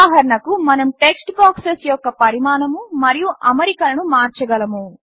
ఉదాహరణకు మనము text boxes యొక్క పరిమాణము మరియు అమరికలను మార్చగలము